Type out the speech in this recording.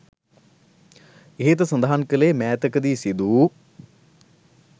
ඉහත සඳහන් කළේ මෑතක දී සිදු වූ